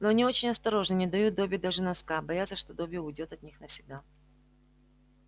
но они очень осторожны не дают добби даже носка боятся что добби уйдёт от них навсегда